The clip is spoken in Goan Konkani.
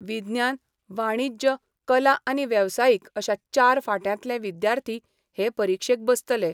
विज्ञान, वाणिज्य, कला आनी वेवसायीक अशा चार फांट्यांतले विद्यार्थी हे परिक्षेत बसतले.